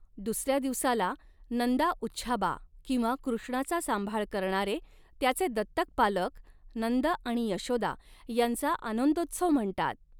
दुसऱ्या दिवसाला 'नंदा उच्छाबा' किंवा कृष्णाचा सांभाळ करणारे त्याचे दत्तक पालक नंद आणि यशोदा यांचा आनंदोत्सव म्हणतात.